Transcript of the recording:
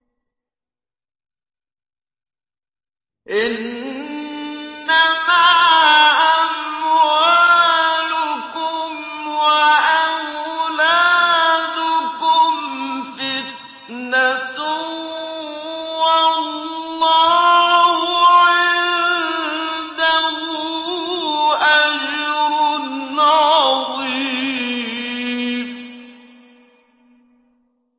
إِنَّمَا أَمْوَالُكُمْ وَأَوْلَادُكُمْ فِتْنَةٌ ۚ وَاللَّهُ عِندَهُ أَجْرٌ عَظِيمٌ